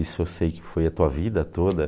Isso eu sei que foi a tua vida toda.